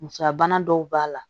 Musoya bana dɔw b'a la